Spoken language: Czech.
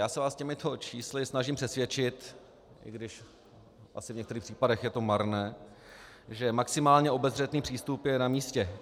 Já se vás těmito čísly snažím přesvědčit, i když asi v některých případech je to marné, že maximálně obezřetný přístup je na místě.